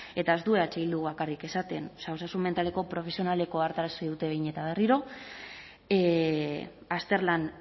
eta ez du eh bilduk bakarrik esaten osasun mentaleko profesionalek ohartarazi digute behin eta berriro azterlan